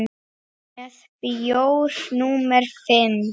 Með bjór númer fimm.